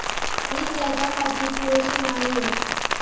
मी त्याच्यासाठी पुरेशी नाहीए.